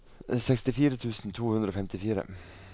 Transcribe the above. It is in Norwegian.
sekstifire tusen to hundre og femtifire